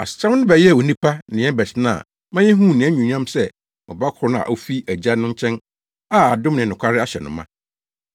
Asɛm no bɛyɛɛ onipa ne yɛn bɛtena ma yehuu nʼanuonyam sɛ ɔba koro a ofi Agya no nkyɛn a adom ne nokware ahyɛ no ma.